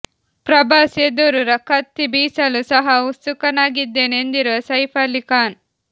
ಪ್ರಭಾಸ್ ಎದುರು ಕತ್ತಿ ಬೀಸಲು ಸಹ ಉತ್ಸುಕನಾಗಿದ್ದೇನೆ ಎಂದಿರುವ ಸೈಫ್ ಅಲಿ ಖಾನ್